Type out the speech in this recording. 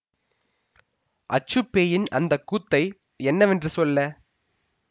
அச்சுப் பேயின் அந்த கூத்தை என்னவென்று சொல்ல